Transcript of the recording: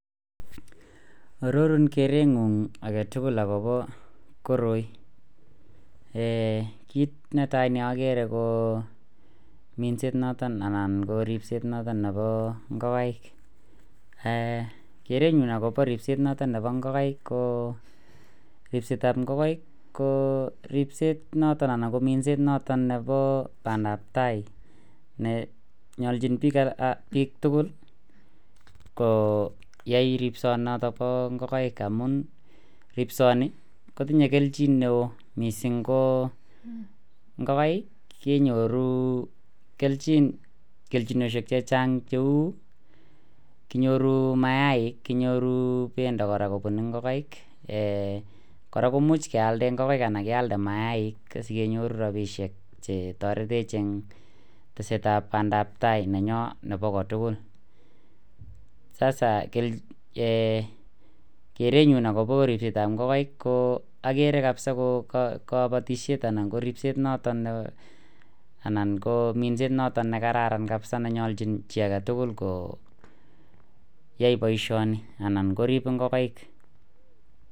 Ororun kereng'ung agetugul akobo koroi, kiit netai neogere ko minset noton anan ripseet noton nebo ng'ogaik, kereny'ung ako ripset noton nebo ng'ogaik ko ripset ab ng'ogaik ko ripset noton anan minset noton nebo pandab tai neyolchin biik tugul koyai ripsonoton bo ng'ogaik amun ripsoni kotinye kelchin neo missing ko ng'ogaik kenyoru kelchinosiek chechang' cheu kinyoru mayaik, kinyoru pendo kora kobun ng'ogaik kora komuch kealde ng'gaik anan ko mayaik sikenyorun rabisiek chetoretech en tesetab pandabtai neyon nebo kotugul, sasa kereng'ung akobo ripseet ab ng'ogaik ko akere kabza ko kabatisyet anan ko ripseet noton nekararan kabza nenyolchin chii agetugul koyai boisioni anan koriib ngogaik.